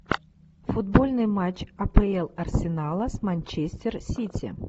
футбольный матч апл арсенала с манчестер сити